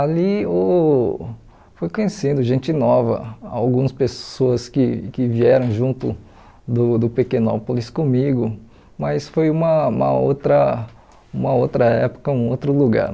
Ali uh fui conhecendo gente nova, algumas pessoas que que vieram junto do do Pequenópolis comigo, mas foi uma uma outra uma outra época, um outro lugar.